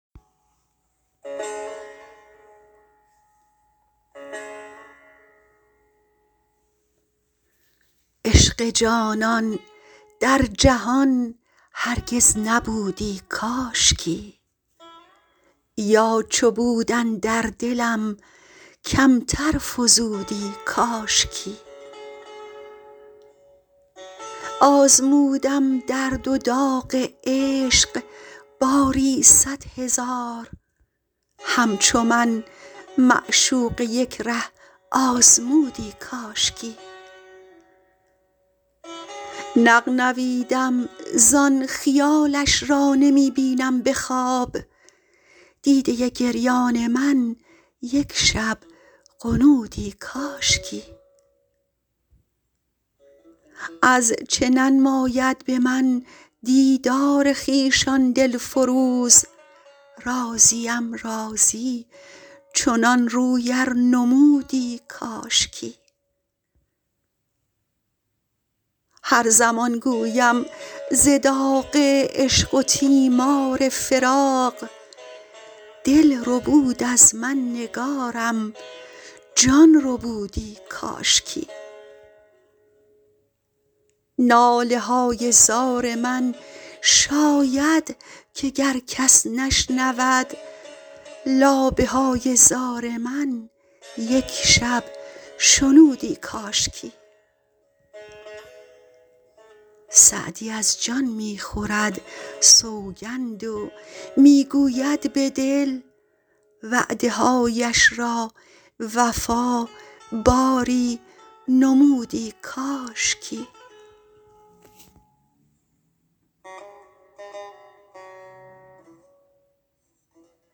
عشق جانان در جهان هرگز نبودی کاشکی یا چو بود اندر دلم کمتر فزودی کاشکی آزمودم درد و داغ عشق باری صد هزار همچو من معشوقه یک ره آزمودی کاشکی نغنویدم زان خیالش را نمی بینم به خواب دیده گریان من یک شب غنودی کاشکی از چه ننماید به من دیدار خویش آن دل فروز راضیم راضی چنان روی ار نمودی کاشکی هر زمان گویم ز داغ عشق و تیمار فراق دل ربود از من نگارم جان ربودی کاشکی ناله های زار من شاید که گر کس نشنود لابه های زار من یک شب شنودی کاشکی سعدی از جان می خورد سوگند و می گوید به دل وعده هایش را وفا باری نمودی کاشکی